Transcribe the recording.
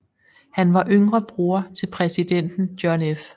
Han var yngre bror til præsident John F